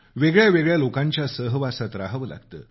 वेगळ्यावेगळ्या लोकांच्या सहवासात राहावं लागतं